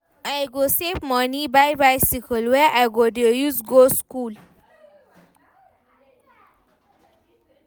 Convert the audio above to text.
I go save moni buy bicycle wey I go dey use go skool.